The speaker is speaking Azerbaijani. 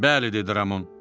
Bəli, dedi Ramon.